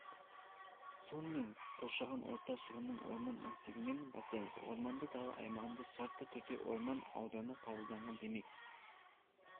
сонымен қоршаған орта шығынын орман массивінен бастаймыз орманды дала аймағында шартты түрде орман ауданы қабылданған демек